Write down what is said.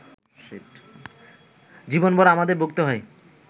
জীবনভর আমাদের ভুগতে হয়